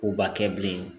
K'u ba kɛ bilen